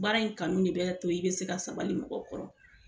Baara in kanu de b'a to i be se ka sabali mɔgɔw kɔrɔ.